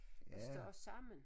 Ryste os sammen